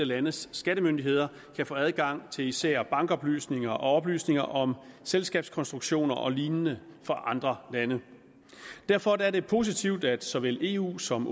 landes skattemyndigheder kan få adgang til især bankoplysninger og oplysninger om selskabskonstruktioner og lignende fra andre lande derfor er det positivt at såvel eu som